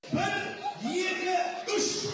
бір екі үш